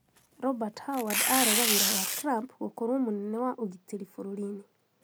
Robert Haward arega wira wa Trump gũkorwo mũnene wa ugitĩri bũrũrinĩ